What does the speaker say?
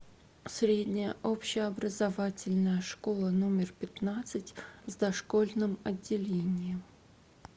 средняя общеобразовательная школа номер пятнадцать с дошкольным отделением